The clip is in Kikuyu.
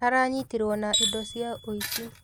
Aranyitirwo na indo cia uici